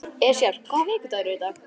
Esjar, hvaða vikudagur er í dag?